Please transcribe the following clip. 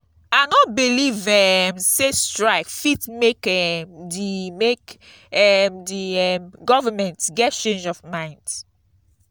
i no beliv um sey strike fit make um di make um di um government get change of mind.